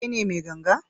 Kai ne mai ganga?